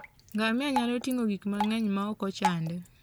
Ngamia nyalo ting'o gik mang'eny maok ochande.